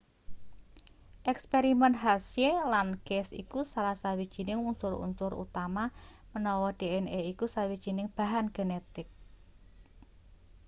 eksperimen harshey lan chase iku salah sawijining unsur-unsur utama menawa dna iku sawijining bahan genetik